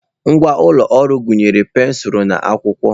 Ngwa ụlọ ọrụ gụnyere pensụl na akwụkwọ.